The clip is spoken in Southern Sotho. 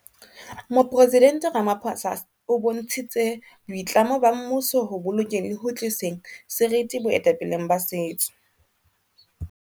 Moporesident Ramaphosa o bontshitse boitlamo ba mmuso ho bolokeng le ho tliseng seriti boetapeleng ba setso.